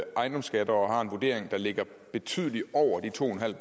ejendomsskatter og har en vurdering der ligger betydeligt over de to en halv